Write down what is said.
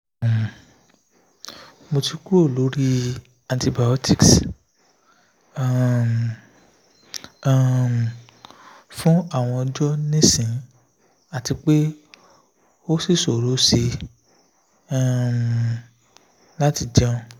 um mo ti kuro lori antibiotics um um fun awon ojo nisin ati pe osi sorose um lati jeun